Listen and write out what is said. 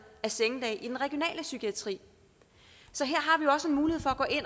af sengedage i den regionale psykiatri så her